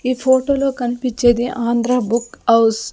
ఈ ఫొటోలో కన్పిచ్చేది ఆంధ్ర బుక్ అవ్స్ .